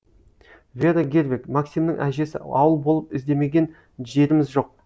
вера гервег максимнің әжесі ауыл болып іздемеген жеріміз жоқ